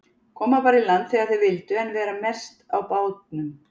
Koma bara í land þegar þeir vildu en vera mest á bátnum.